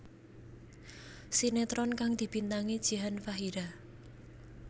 Sinetron kang dibintangi Jihan Fahira